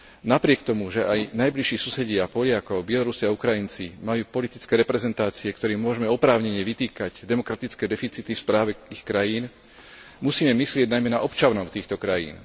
Napriek tomu, že aj najbližší susedia Poliakov Bielorusi a Ukrajinci majú politické reprezentácie, ktorým môžeme oprávnene vytýkať demokratické deficity v správe ich krajín, musíme myslieť najmä na občanov týchto krajín.